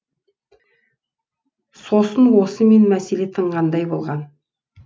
сосын осымен мәселе тынғандай болған